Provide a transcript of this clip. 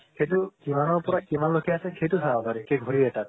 সেইটো কিমানৰ পৰা কিমান লৈকে আছে সেইটো চাব পাৰি ঠিক ঘড়ী এটাত